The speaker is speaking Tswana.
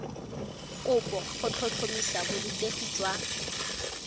kopo go tlhotlhomisa borutegi jwa